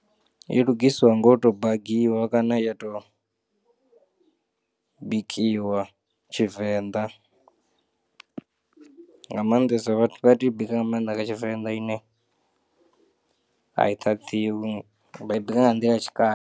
I lugisiwa nga u to bangiwa kana ya to bikiwa tshivenḓa nga maanḓesa vha tea u bika nga maanḓa nga tshivenḓa ine a i ṱhaṱhiwi vha i bika nga nḓila ya tshikale.